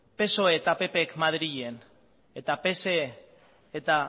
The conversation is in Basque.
psoek eta ppk madrilen eta psek eta